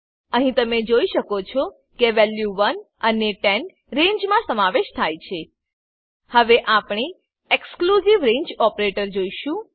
અહી તમે જોઈ શકો છો કે વેલ્યુ 1 અને 10 રેન્જમા સમાવેશ થાય છે હવે આપણે એક્સક્લુઝિવ રંગે ઓપરેટર જોશું